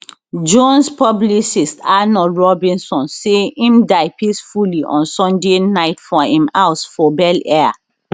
jones publicist arnold robinson say im die peacefully on sunday night for im house for bel air